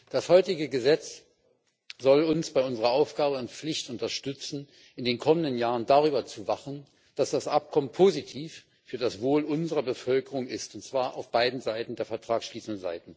Das heutige Gesetz soll uns bei unserer Aufgabe und Pflicht unterstützen, in den kommenden Jahren darüber zu wachen, dass das Abkommen positiv für das Wohl unserer Bevölkerung ist, und zwar auf der Seite beider Vertragsparteien.